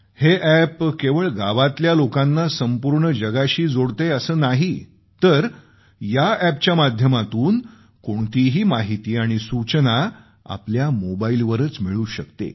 हे अॅप केवळ गावातल्या लोकांना संपूर्ण जगाशी जोडतेय असं नाही तर या अॅपच्या माध्यमातून कोणतीही माहिती आणि सूचना आपल्या मोबाईलवरच मिळू शकते